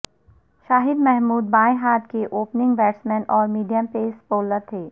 شاہد محمود بائیں ہاتھ کے اوپننگ بیٹسمین اور میڈیم پیس بولر تھے